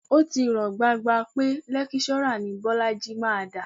Ó ti hàn gbangba pé lẹ́kíṣọ́rà ni Bọ́lájí máa dà